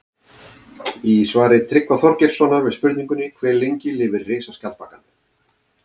Í svari Tryggva Þorgeirssonar við spurningunni Hve lengi lifir risaskjaldbakan?